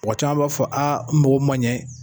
Mɔgɔ caman b'a fɔ aa n mako man ɲɛ.